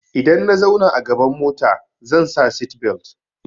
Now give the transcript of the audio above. Idan na zauna a gaban mota zan sa seatbelt.